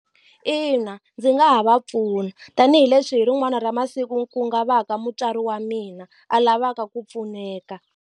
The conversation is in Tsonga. Ina ndzi nga ha va pfuna tanihileswi hi rin'wana ra masiku ku nga va ka mutswari wa mina a lavaka ku pfuneka.